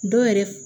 Dɔw yɛrɛ f